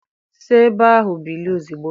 Si ebe ahụ bilie ozugbo!